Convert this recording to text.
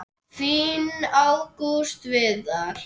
Þinn Ágúst Viðar.